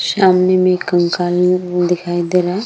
सामने एक कंकाल है वो दिखाई दे रहा है ।